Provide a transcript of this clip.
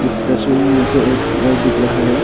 इस तस्वीर में मुझे एक घर दिख रहा है।